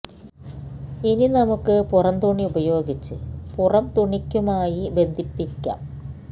ഇനി നമുക്ക് പുറം തുണി ഉപയോഗിച്ച് പുറം തുണിക്കുമായി ബന്ധിപ്പിയ്ക്കാം